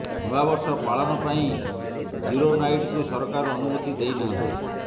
ନୂଆବର୍ଷ ପାଳନ ପାଇଁ ଜିରୋ ନାଇଟକୁ ସରକାର ଅନୁମତି ଦେଇନାହାଁନ୍ତି